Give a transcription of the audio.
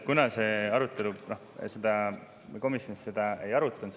Kuna komisjon seda ei arutanud …